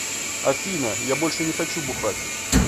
афина я больше не хочу бухать